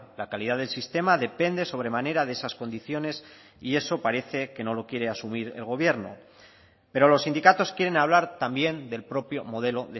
la calidad del sistema depende sobremanera de esas condiciones y eso parece que no lo quiere asumir el gobierno pero los sindicatos quieren hablar también del propio modelo